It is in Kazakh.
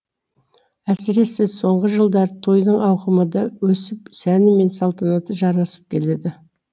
әсіресе соңғы жылдары тойдың ауқымы да өсіп сәні мен салтанаты жарасып келеді